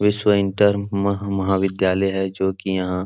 विश्व इंटर मह महा विद्यालय है जो कि यहाँ --